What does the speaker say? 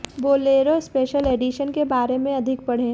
Bolero special edition के बारें में अधिक पढ़े